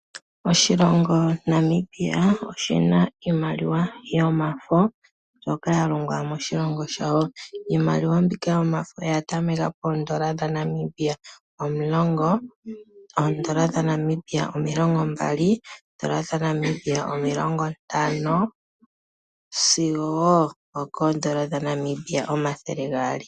Oshilongo Namibia oshina iimaliwa yomafo mbyoka ya longwa moshilongo shawo. Iimaliwa mbika yomafo oya tameka poondola dha Namibia omulongo, oondola dhaNamibia milongombali, oondola dhaNamibia omilongo ntano sigo oondola dha Namibia omathele gaali.